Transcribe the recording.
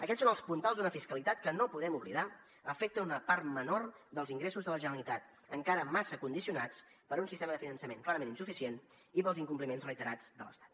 aquests són els puntals d’una fiscalitat que no ho podem oblidar afecta una part menor dels ingressos de la generalitat encara massa condicionats per un sistema de finançament clarament insuficient i pels incompliments reiterats de l’estat